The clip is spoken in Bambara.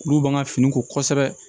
Olu b'an ka fini ko kosɛbɛ